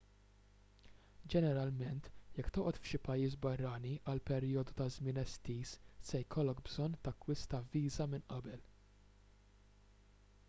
ġeneralment jekk toqgħod f'xi pajjiż barrani għal perjodu ta' żmien estiż se jkollok bżonn takkwista viża minn qabel